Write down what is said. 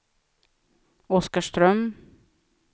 Oskarström